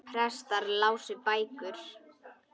Prestar lásu bækur.